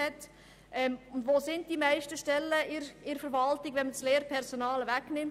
Wo sind die meisten Stellen in der Verwaltung angesiedelt, wenn wir das Lehrpersonal ausklammern?